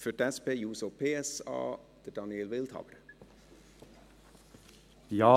Für die SP-JUSO-PSA-Fraktion: Daniel Wildhaber.